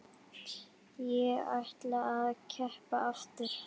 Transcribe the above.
Ég ætla að keppa aftur.